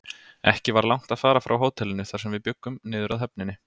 Ekki var langt að fara frá hótelinu, þar sem við bjuggum, niður að höfninni.